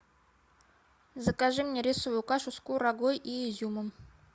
закажи мне рисовую кашу с курагой и изюмом